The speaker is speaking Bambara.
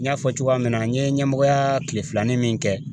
N y'a fɔ cogoya min na n ye ɲɛmɔgɔyaa kile filanin min kɛ